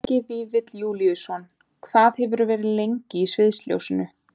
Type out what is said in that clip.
Helgi Vífill Júlíusson: Hvað hefurðu verið lengi í sviðsljósinu?